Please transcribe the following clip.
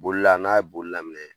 Bolila n'a ye boli laminɛ